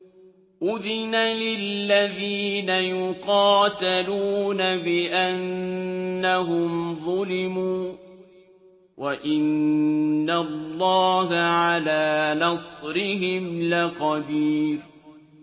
أُذِنَ لِلَّذِينَ يُقَاتَلُونَ بِأَنَّهُمْ ظُلِمُوا ۚ وَإِنَّ اللَّهَ عَلَىٰ نَصْرِهِمْ لَقَدِيرٌ